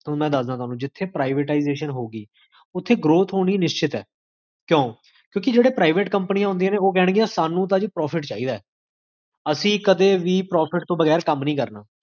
ਹੁਣ ਮੈਂ ਦਸਦਾ ਹਾਂ ਤੁਹਾਨੂੰ ਜਿਥੇ privatisation ਹੋਊਗੀ, ਓਥੇ growth ਹੋਣੀ ਨਿਸ਼ਚਿਤ ਹੈ ਕਿਓਂ? ਕਿਓਂਕਿ, ਜੇਹੜੇ private ਕ੍ਮ੍ਪ੍ਨੀਆਂ ਹੁੰਦੀਆਂ ਨੇ, ਸਾਨੂੰ ਤਾ ਜੀ profit ਚਾਹਿਦਾ ਹੈ ਅਸੀ ਕਦੇ ਵੀ profit ਤੋ ਬਗੈਰ ਕਾਮ ਨੀ ਕਰਨਾ